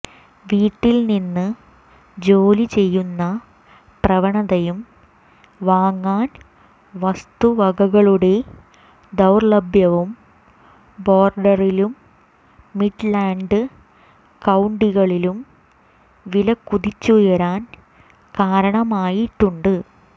വീട്ടിൽ നിന്ന് ജോലി ചെയ്യുന്ന പ്രവണതയും വാങ്ങാൻ വസ്തുവകകളുടെ ദൌർലഭ്യവും ബോർഡറിലും മിഡ്ലാൻഡ് കൌണ്ടികളിലും വില കുതിച്ചുയരാൻ കാരണമായിട്ടുണ്ട്